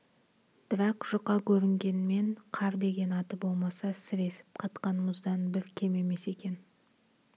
бірақ жұқа көрінгенмен қар деген аты болмаса сіресіп қатқан мұздан бір кем емес екен